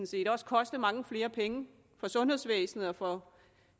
set også koste mange flere penge for sundhedsvæsenet og for